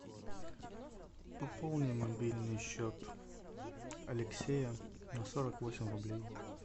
пополни мобильный счет алексея на сорок восемь рублей